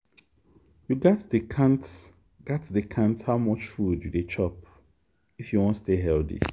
you gats dey count gats dey count how much food you dey chop if you wan stay healthy.